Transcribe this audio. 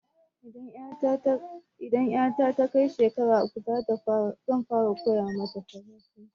Idan ƴata ta kai shekara uku zan fara koya mata farasanci